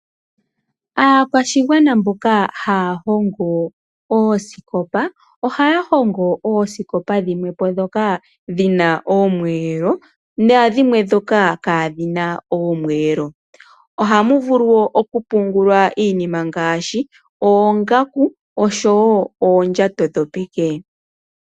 Aakwashigwana mboka haya hogo oosikopa ohaya hongo ooskopa dhimwe dhoka dhina oomweelo naadhimwe dhoka kadhina oomwelo. Ohamu pungulwa iinima ngashi oongaku noondjato dhopeke.